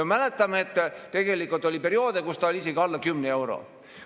Me mäletame, et tegelikult oli perioode, kus ta oli isegi alla 10 euro.